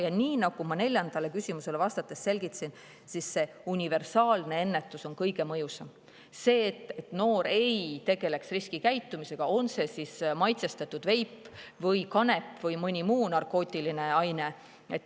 Ja nii nagu ma neljandale küsimusele vastates selgitasin, säärane universaalne ennetus on kõige mõjusam, et noored ei tegeleks riskikäitumisega, on see siis maitsestatud veip või kanep või mõni muu narkootiline aine.